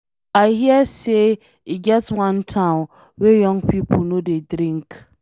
I hear say e get wan town wey young people no dey drink.